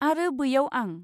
आरो बैयाव आं!